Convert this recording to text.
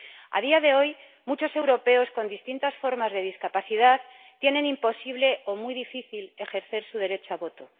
A día de hoy, muchos europeos con distintas formas de discapacidad tienen imposible o muy difícil ejercer su derecho al voto.